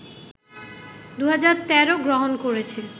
২০১৩ গ্রহণ করেছে